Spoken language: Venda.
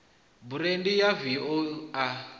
burandi ya v o a